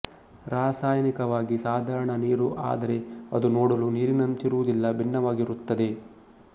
ರಾಸಾಯನಿಕವಾಗಿ ಸಾಧಾರಣ ನೀರು ಆದರೆ ಅದು ನೋಡಲು ನೀರಿನಂತಿರುವುದಿಲ್ಲ ಭಿನ್ನವಾಗಿರುತ್ತದೆ